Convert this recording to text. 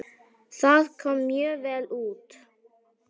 Það kom mjög vel út.